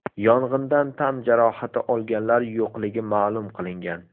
Yong‘indan tan jarohati olganlar yo‘qligi ma’lum qilingan.